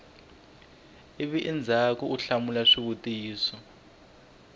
ivi endzhaku u hlamula swivutiso